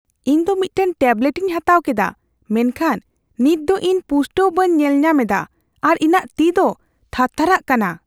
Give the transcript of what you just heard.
ᱤᱧ ᱫᱚ ᱢᱤᱫᱴᱟᱝ ᱴᱮᱵᱞᱮᱴᱤᱧ ᱦᱟᱛᱟᱣ ᱠᱮᱫᱟ, ᱢᱮᱱᱠᱷᱟᱱ ᱱᱤᱛ ᱫᱚ ᱤᱧ ᱯᱩᱥᱴᱟᱹᱣ ᱵᱟᱹᱧ ᱧᱮᱞᱧᱟᱢ ᱮᱫᱟ ᱟᱨ ᱤᱧᱟᱹᱜ ᱛᱤ ᱫᱚ ᱛᱷᱟᱨᱛᱷᱟᱨᱟᱜ ᱠᱟᱱᱟ ᱾